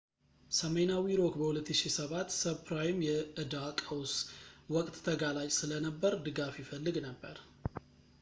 ሰሜናዊ ሮክ በ2007 ሰብፕራይም የዕዳ ቀውስ ወቅት ተጋላጭ ስለነበር ድጋፍ ይፈልግ ነበር